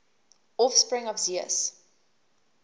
offspring of zeus